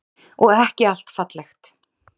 Og ekki allt fallegt.